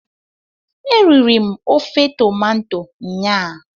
Eriri m ofe tomanto nyaa